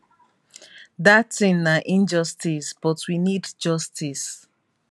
dat tin na injustice but we need justice